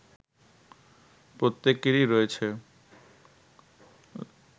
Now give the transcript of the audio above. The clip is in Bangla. প্রত্যেকেরই রয়েছে